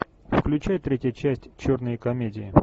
включай третья часть черной комедии